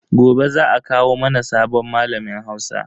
Gobe za a kawo mana sabon malamin Hausa.